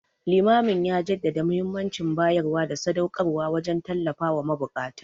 Limamin ya jaddada muhimmancin bayarwa da sadauƙarwa wajen tallafawa mabukata.